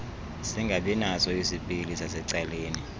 singabinaso isipili sasecaleni